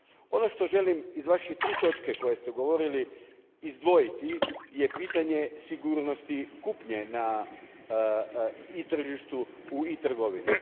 Ono što želim izdvojiti iz tri točke o kojima ste govorili izdvojiti je pitanje sigurnosti kupnje na e tržištu i e trgovini.